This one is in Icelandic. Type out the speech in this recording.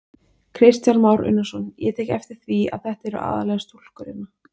Kristján Már Unnarsson: Ég tek eftir því að þetta eru aðallega stúlkur hérna?